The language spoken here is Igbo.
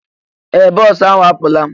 Ee! Bọọsụ ahụ a pụọla.